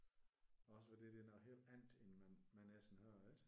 Også fordi det er noget helt andet end man man ellers hører ik?